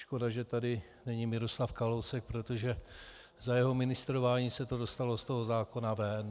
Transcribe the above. Škoda, že tady není Miroslav Kalousek, protože za jeho ministrování se to dostalo z toho zákona ven.